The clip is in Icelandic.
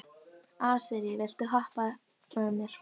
Asírí, viltu hoppa með mér?